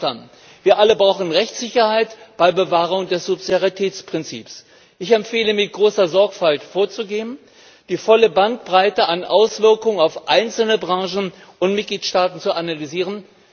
Einverstanden! Wir alle brauchen Rechtssicherheit bei Bewahrung des Subsidiaritätsprinzips. Ich empfehle, mit großer Sorgfalt vorzugehen und die volle Bandbreite an Auswirkungen auf einzelne Branchen und Mitgliedstaaten zu analysieren.